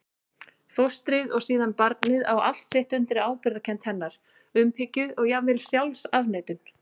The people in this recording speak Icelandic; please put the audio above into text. Fóstrið og síðan barnið á allt sitt undir ábyrgðarkennd hennar, umhyggju og jafnvel sjálfsafneitun.